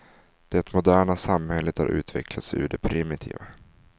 Det moderna samhället har utvecklats ur det primitiva.